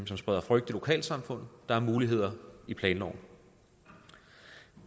som spreder frygt i lokalsamfundet der er muligheder i planloven